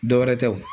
Dɔ wɛrɛ tɛ o